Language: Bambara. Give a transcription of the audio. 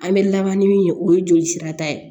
An bɛ laban ni min ye o ye joli sira ta ye